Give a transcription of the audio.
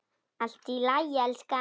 Allt í lagi, elskan.